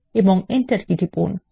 এবং enter key টিপুন